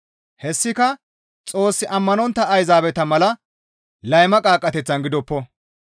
Hessika Xoos ammanontta Ayzaabeta mala layma qaaqqateththan gidoppo.